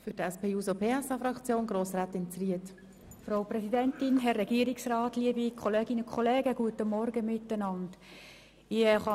Ich kann mich kürzer fassen als meine Vorredner und Vorrednerinnen, denn sie haben das meiste bereits gesagt.